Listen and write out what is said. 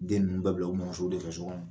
Den ninnu bɛɛ bila u mɔmusow de fɛ